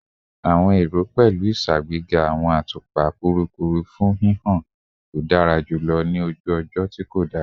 Awọn ero pẹlu iṣagbega awọn atupa kurukuru fun hihan to dara julọ ni oju ojo ti ko dara